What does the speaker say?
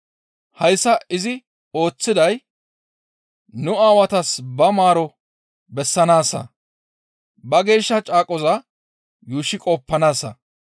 Hayssa izi ooththiday nu aawatas ba maaroteth bessanaassa, ba geeshsha caaqoza yuushshi qoppanaassa.